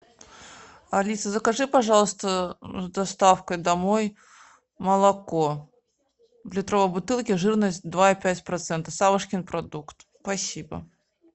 алиса закажи пожалуйста с доставкой домой молоко в литровой бутылке жирность два и пять процента савушкин продукт спасибо